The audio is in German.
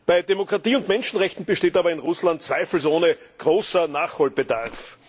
Bei Demokratie und Menschenrechten besteht in Russland aber zweifelsohne großer Nachholbedarf.